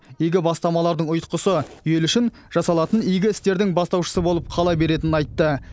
игі бастамалардың ұйтқысы ел үшін жасалатын игі істердің бастаушысы болып қала беретінін айтты